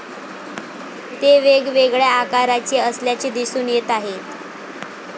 ते वेगवेगळ्या आकारचे असल्याचे दिसून येत आहे.